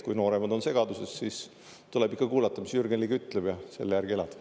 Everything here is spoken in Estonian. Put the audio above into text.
Kui nooremad on segaduses, siis tuleb ikka kuulata, mis Jürgen Ligi ütleb, ja selle järgi elada.